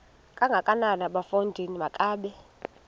kangakanana bafondini makabe